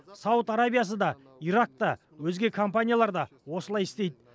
сауд арабиясы да ирак та өзге компаниялар да осылай істейді